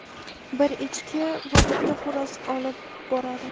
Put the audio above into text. bir echki va bitta xo‘roz olib boradi.